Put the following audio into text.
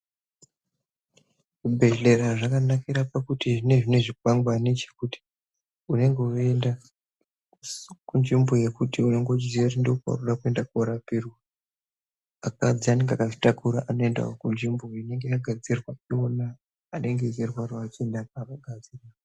Zvibhedhlera zvakanakira pakuti zvinenge zvine zvikwangwani chekuti unenge weienda kunzvimbo yekuti unenge uchiziya kuti ndokwaunoenda korapirwa. Akadzi anenge akazvitakura anoendawo kunzvimbo inenge yakagadzirwa ndiwona anenge achirwarawo achienda nevanhukadzi.